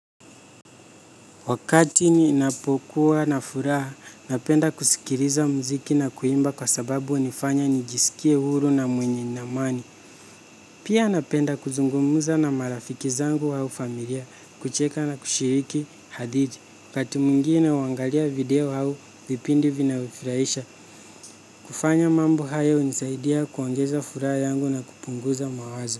Wakati ninapokuwa na furaha, napenda kusikiliza muziki na kuimba kwa sababu hunifanya nijiskie huru na mwenye ni amani. Pia napenda kuzungumza na marafiki zangu au familia, kucheka na kushiriki hadithi. Wakaati mwingine huangalia video au, vipindi vinavyofurahisha, kufanya mambo hayo hunisaidia kuongeza furaha yangu na kupunguza mawazo.